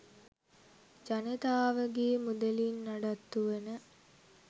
ජනතාවගේ මුදලින් නඩත්තු වන